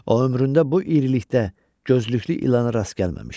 O ömründə bu irilikdə, gözlüklü ilana rast gəlməmişdi.